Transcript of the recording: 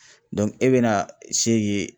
e bɛ na se ye